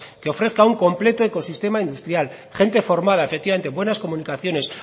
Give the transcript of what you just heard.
que ofrezca un completo ecosistema industrial gente formada efectivamente buenas comunicaciones